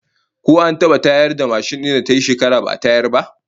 Ko an iya tayar da mashin din da tayi shekara ba'a tayar da ita ba?